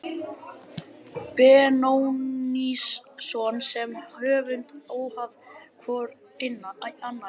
Benónýsson sem höfund óháð hvor annarri.